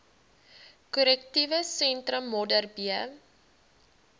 korrektiewe sentrum modderbee